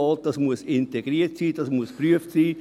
Dieses muss integriert sein, das muss geprüft werden.